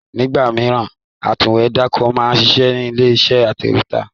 Nígbà míì, atúwèédàkọ máa ń ṣiṣẹ́ nílé iṣẹ́ atẹ̀wẹ́tà